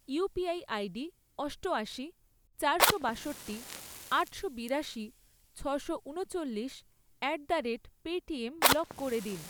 UPI ID অষ্টআশি, চারশো বাষট্টি, আটশো বিরাশি, ছশো ঊনচল্লিশ at the rate Paytm block করে দিন।